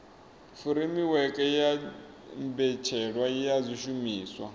furemiweke ya mbetshelwa ya zwishumiswa